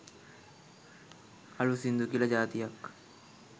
අලුත් සිංදු කියල ජාතියක්